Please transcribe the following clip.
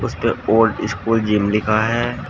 उसपे old school gym लिखा है।